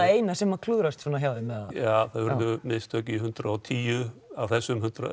eina sem klúðrast hjá þeim það urðu mistök í hundrað og tíu af þessum